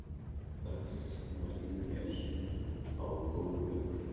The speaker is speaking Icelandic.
Það kviknar í mér á gólfinu.